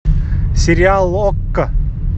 сериал окко